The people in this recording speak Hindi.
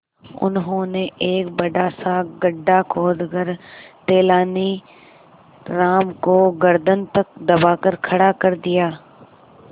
उन्होंने एक बड़ा सा गड्ढा खोदकर तेलानी राम को गर्दन तक दबाकर खड़ा कर दिया